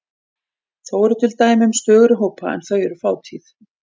Þó eru til dæmi um stöðugri hópa en þau eru fátíð.